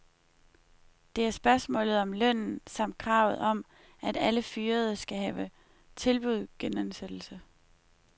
Det er spørgsmålet om lønnen, samt kravet om, at alle fyrede skal have tilbud genansættelse.